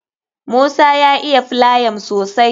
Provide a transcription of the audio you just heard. Musa ya iya filayam sosai